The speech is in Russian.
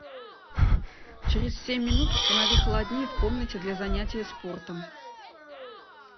через семь минут установи холоднее в комнате для занятия спортом